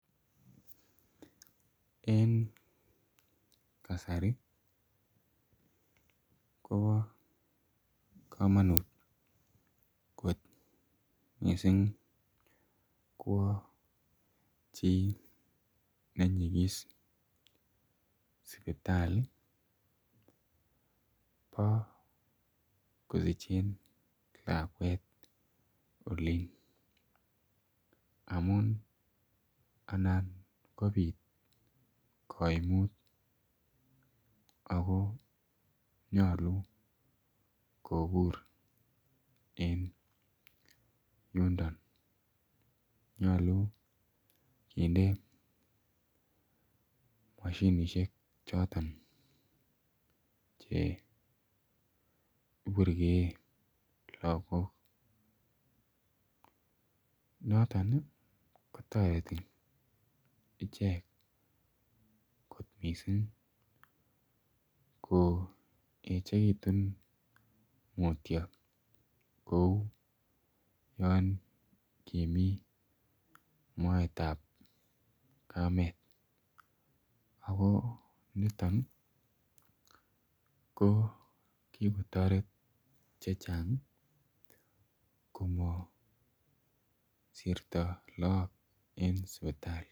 Eng kasari ii kobaa kamanuut koot missing kowaa chii nenyigis sipitalii bo kosicheen lakwet oliin amuun anan kobiit kaimuut ako nyaluu kobuur en yundoo nyaluu kinde mashinisheek chotoon che iburgei lagoog notoon ii kotaretii icheek koot missing koechekituun mutyo kouu yaan kimii moet ab kameet ako nitoon ii ko kikotaret che chaang komasirto lagook en sipitali.